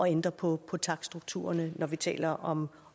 ændre på på takststrukturerne når vi taler om